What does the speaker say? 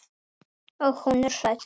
Og hún er hrædd.